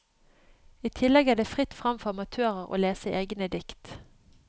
I tillegg er det fritt frem for amatører å lese egne dikt.